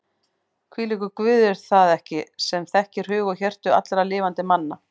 Hvílíkur Guð er það ekki sem þekkir hug og hjörtu allra lifandi manna?